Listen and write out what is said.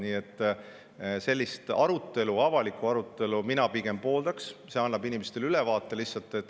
Nii et sellist avalikku arutelu mina pigem pooldan, see annab inimestele ülevaate.